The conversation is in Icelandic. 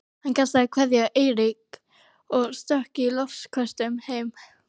Hann kastaði kveðju á Eirík og stökk í loftköstum heim.